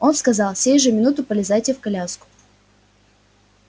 он сказал сей же минуту полезайте в коляску